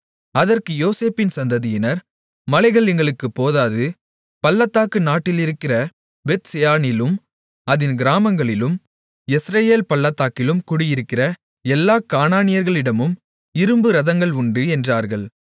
அதற்கு யோசேப்பின் சந்ததியினர் மலைகள் எங்களுக்குப் போதாது பள்ளத்தாக்கு நாட்டிலிருக்கிற பெத்செயானிலும் அதின் கிராமங்களிலும் யெஸ்ரயேல் பள்ளத்தாக்கிலும் குடியிருக்கிற எல்லாக் கானானியர்களிடமும் இரும்பு இரதங்கள் உண்டு என்றார்கள்